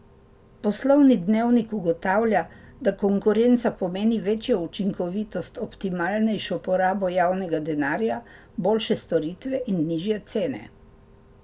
Poslovni dnevnik ugotavlja, da konkurenca pomeni večjo učinkovitost, optimalnejšo porabo javnega denarja, boljše storitve in nižje cene.